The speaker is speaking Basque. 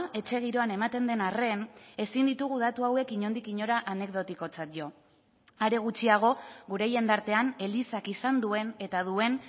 etxe giroan ematen den arren ezin ditugu datu hauek inondik inora anekdotikotzat jo are gutxiago gure jendartean elizak izan duen eta duen